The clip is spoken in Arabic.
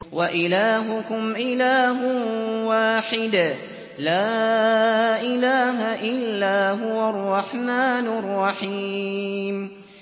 وَإِلَٰهُكُمْ إِلَٰهٌ وَاحِدٌ ۖ لَّا إِلَٰهَ إِلَّا هُوَ الرَّحْمَٰنُ الرَّحِيمُ